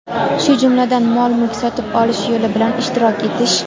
shu jumladan mol-mulk sotib olish yo‘li bilan ishtirok etish;.